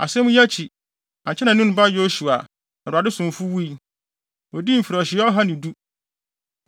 Asɛm yi akyi, ankyɛ na Nun babarima Yosua, Awurade somfo wui. Odii mfirihyia ɔha ne du.